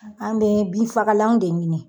An bɛ binfagalanw de ɲini.